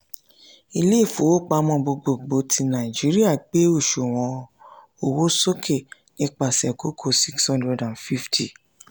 ilé ifowópamọ́ gbogbogbò ti nàìjíríà gbé òṣùwọ̀n owó sókè nípasẹ̀ kókó 650.